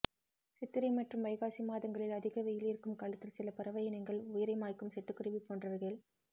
சித்திரை மற்றும் வைகாசி மாதங்களில் அதிக வெயில் இருக்கும் காலத்தில் சில பறவை இனங்கள் உயிரை மாய்க்கும் சிட்டுக்குருவி போன்றவைகள்